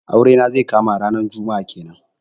Aure na zai kama ranar juma'a kenan.